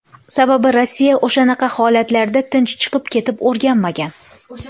Sababi, Rossiya o‘shanaqa holatlarda tinch chiqib ketib o‘rganmagan.